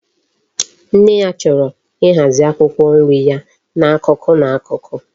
Nne ya choro ihazi akwukwo nri ya na akuku na akuku